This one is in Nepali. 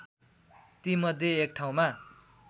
तीमध्ये एक ठाउँमा